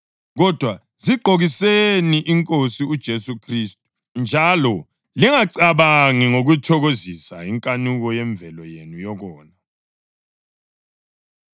Kodwa zigqokiseni iNkosi uJesu Khristu, njalo lingacabangi ngokuthokozisa inkanuko yemvelo yenu yokona.